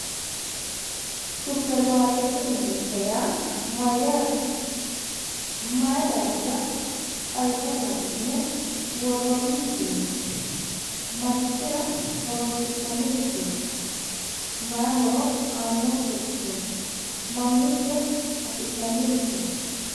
Supermaarkeetete mirte yaa mayyate? Mayi daafira xawisate hasi'ne worriinni misileeti? marichira horonsi'nannirichooti? mayi horo aannonkerichooti? Mamiicho afi'nannirichooti?